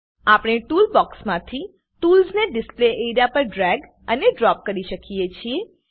આપણે ટૂલ બોક્ક્ષમાંથી ટૂલસને ડિસ્પ્લે એરિયા પર ડ્રેગ અને ડ્રોપ કરી શકીએ છીએ